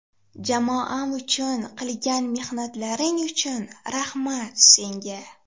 Jamoam uchun qilgan mehnatlaring uchun rahmat, senga!